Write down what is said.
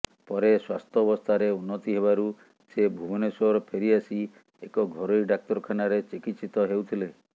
ପରେ ସ୍ୱାସ୍ଥ୍ୟବସ୍ଥାରେ ଉନ୍ନତି ହେବାରୁ ସେ ଭୁବନେଶ୍ୱର ଫେରିଆସି ଏକ ଘରୋଇ ଡ଼ାକ୍ତରଖାନାରେ ଚିକିତ୍ସିତ ହେଉଥିଲେ